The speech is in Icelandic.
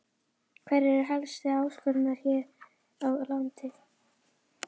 Hverjar eru helstu áskoranirnar hér á landi?